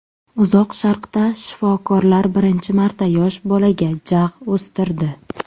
Uzoq Sharqda shifokorlar birinchi marta yosh bolaga jag‘ o‘stirdi.